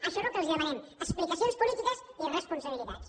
això és el que els demanem explicacions polítiques i responsabilitats